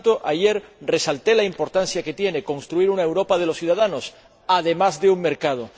Por tanto, ayer resalté la importancia que tiene construir una Europa de los ciudadanos, además de un mercado.